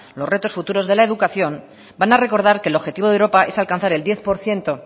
los retos futuros de la educación van a recordar que el objetivo de europa es alcanzar el diez por ciento